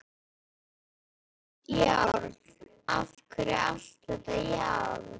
Járn, járn, af hverju allt þetta járn?